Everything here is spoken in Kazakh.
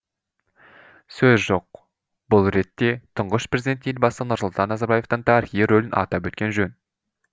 сөз жоқ бұл ретте тұңғыш президент елбасы нұрсұлтан назарбаевтың тарихи рөлін атап өткен жөн